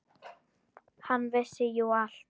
Hann vissi jú allt.